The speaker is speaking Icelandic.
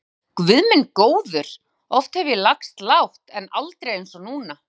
Ég hugsaði: Guð minn góður, oft hef ég lagst lágt, en aldrei eins og núna.